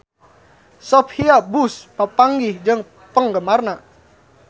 Sophia Bush papanggih jeung penggemarna